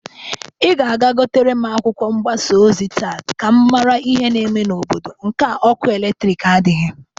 Ị ga-aga gotere m akwụkwọ mgbasa ozi taa ka m mara ihi na-eme n'obodo nke a ọkụ eletriki nadịghị.